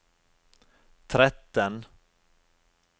tretten